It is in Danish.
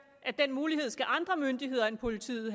at den mulighed skal andre myndigheder end politiet